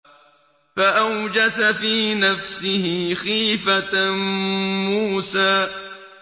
فَأَوْجَسَ فِي نَفْسِهِ خِيفَةً مُّوسَىٰ